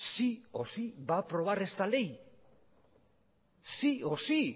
sí o sí va a aprobar esta ley sí o sí